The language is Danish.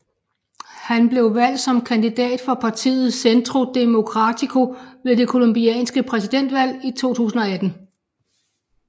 Han blev valgt som kandidat fra partiet Centro Democrático ved det colombianske præsidentvalg i 2018